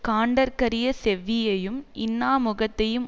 காண்டற்கரிய செவ்வியையும் இன்னா முகத்தையும்